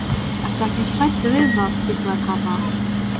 Ertu ekkert hræddur við það? hvíslaði Kata.